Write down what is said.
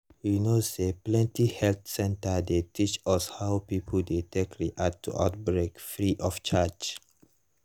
you know say plenty health center dey teach us how people dey take react to outbreak free of charge